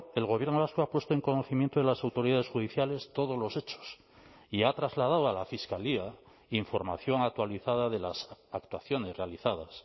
el gobierno vasco ha puesto en conocimiento de las autoridades judiciales todos los hechos y ha trasladado a la fiscalía información actualizada de las actuaciones realizadas